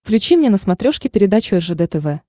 включи мне на смотрешке передачу ржд тв